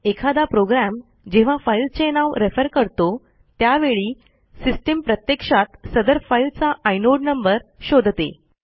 एखादा प्रोग्रॅम जेव्हां फाईलचे नाव रेफर करतो त्यावेळी सिस्टीम प्रत्यक्षात सदर फाईलचा इनोड नंबर शोधते